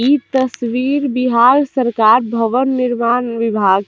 इ तस्वीर बिहार सरकार भवन निर्माण विभाग --